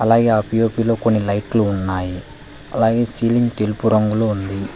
అలాగే ఆ పీ_ఓ_పి లో కొన్ని లైట్లు ఉన్నాయి అలాగే సీలింగ్ తెలుపు రంగులో ఉంది.